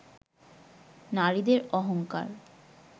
নারীদের অহংকার